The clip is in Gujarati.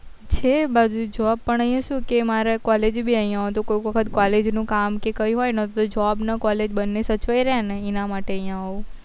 છે એ બાજુ job પણ અહિયાં શું કે મારા college બી અહિયાં હોય તો કોક વખત college નું કામ કે કઈ હોય તો job college બને સચવાઈ રે એના માટે અહિયાં આવવું